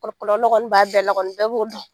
bɛɛ b'o dɔn.